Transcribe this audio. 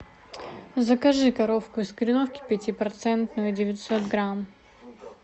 закажи коровку из кореновки пятипроцентную девятьсот грамм